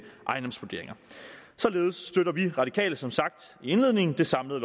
ejendomsvurderinger således støtter vi radikale som sagt i indledningen det samlede